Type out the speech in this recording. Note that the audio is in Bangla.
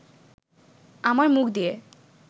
আমার মুখ দিয়ে